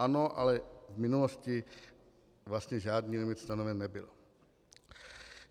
Ano, ale v minulosti vlastně žádný limit stanoven nebyl.